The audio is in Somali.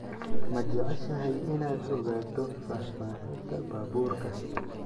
ma jeceshahay inaad ogaato faahfaahinta baabuurka